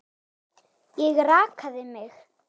Ég rakaði mig.